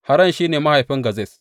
Haran shi ne mahaifin Gazez.